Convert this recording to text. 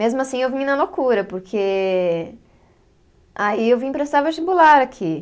Mesmo assim, eu vim na loucura, porque. Aí eu vim prestar vestibular aqui.